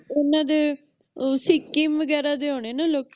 ਓਹਨਾ ਦੇ ਅਹ ਸਿੱਕਮ ਵਗੈਰਾ ਦੇ ਹੋਣੇ ਆ ਲੋਕੀ